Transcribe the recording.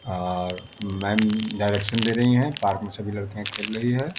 Are ma'am direction दे रही है पार्क में सभी लड़कियाँ खेल रही हैं।